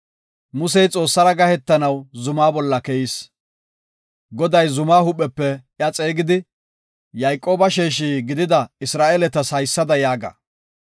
Musey Xoossara gahetanaw zuma bolla keyis. Goday zumaa huuphepe iya xeegidi, “Yayqooba sheeshi gidida Isra7eeletas haysada yaaga;